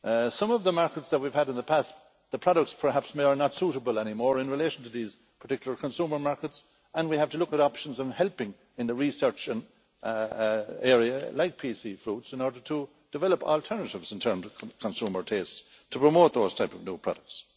Some of the markets that we have had in the past, the products perhaps may not be suitable anymore in relation to these particular consumer markets, and we have to look at options and consider helping in the research area with companies like PC Fruit in order to develop alternatives in terms of consumer tastes and to promote those types of new products.